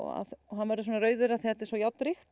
hann verður svona rauður af því þetta er svo